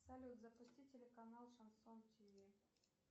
салют запусти телеканал шансон тв